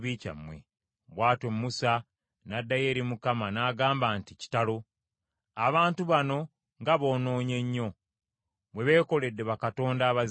Bw’atyo Musa n’addayo eri Mukama , n’agamba nti, “Kitalo! Abantu bano nga boonoonye nnyo; bwe beekoledde bakatonda aba zaabu!